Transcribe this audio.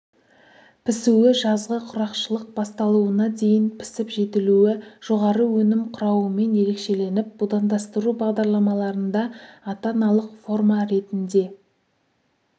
пісуі жазғы құрғақшылық басталуына дейін пісіп-жетілуі жоғары өнім құрауымен ерекшеленіп будандастыру бағдарламаларында ата-аналық форма ретінде